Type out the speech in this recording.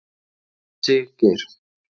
Siggeir